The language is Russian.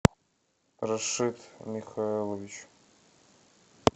рашид михайлович